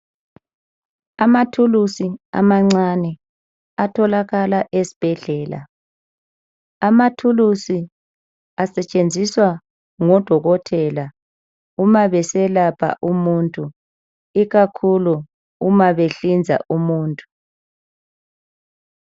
Amathulusi amancane atholakala esibhedlela. Amathulusi asetshenziswa ngodokotela uma beselapha umuntu ikakhulu uma behlinza umuntu.